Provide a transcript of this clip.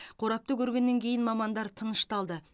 қорапты көргеннен кейін мамандар тынышталды